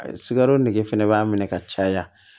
Sikaro nege fɛnɛ b'a minɛ ka caya